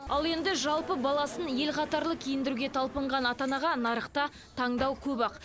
ал енді жалпы баласын ел қатарлы киіндіруге талпынған ата анаға нарықта таңдау көп ақ